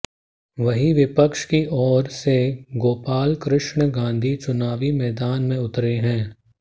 वहीं विपक्ष की और से गोपालकृष्ण गांधी चुनावी मैदान में उतरे हैं